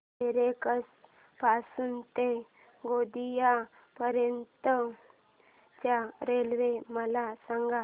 दरेकसा पासून ते गोंदिया पर्यंत च्या रेल्वे मला सांगा